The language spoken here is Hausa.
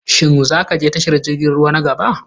Shin za ka je tashar jirgin ruwa na gaba?